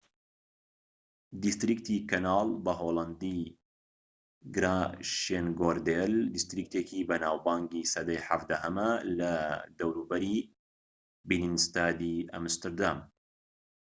دیستریکتی کەناڵ بە هۆڵەندی: گراشێنگۆردێل دیستریکتێکی بەناوبانگی سەدەی 17ەمە لە دەوروبەری بینینستادی ئەمستردام